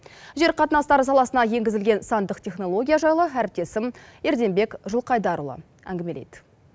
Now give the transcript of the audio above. жер қатынастары саласына енгізілген сандық технология жайлы әріптесім ерденбек жылқайдарұлы әңгімелейді